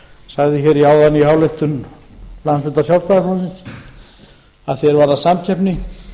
sagði hér áðan í ályktun landsfundar sjálfstæðisflokksins að því er varðar samkeppni